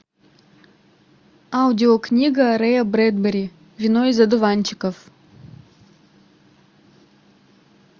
аудио книга рэя брэдбери вино из одуванчиков